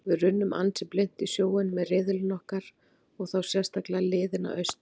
Við runnum ansi blint í sjóinn með riðillinn okkar og þá sérstaklega liðin að austan.